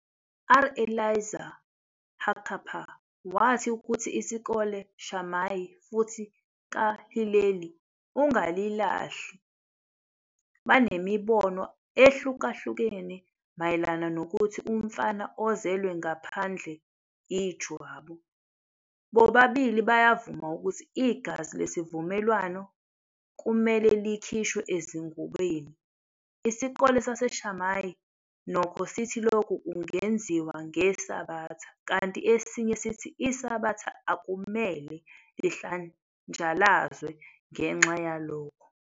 R. Elazar Hakappar wathi ukuthi isikole Shamai futhi kaHileli ungalilahli banemibono ehlukahlukene mayelana nokuthi umfana ozelwe ngaphandle ijwabu. Bobabili bayavuma ukuthi igazi lesivumelwano kumele likhishwe ezingubeni. Isikole saseShamai, nokho, sithi lokhu kungenziwa ngeSabatha, kanti esinye sithi iSabatha akumele lihlanjalazwe ngenxa yalokho.